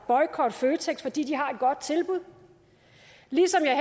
boykotte føtex fordi de har et godt tilbud ligesom jeg